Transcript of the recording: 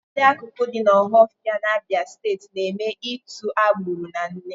Ụfọdụ akụkụ dị n'Ọhafịa n'Abịa Steeti na-eme ịtụ agbụrụ na nne